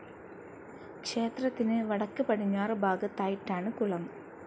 ക്ഷേത്രത്തിന് വടക്ക് പടിഞ്ഞാറ് ഭാഗത്തായിട്ടാണ് കുളം.